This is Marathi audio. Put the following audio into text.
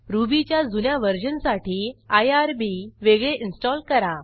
रुबीच्या जुन्या वर्जनसाठी आयआरबी वेगळे इन्स्टॉल करा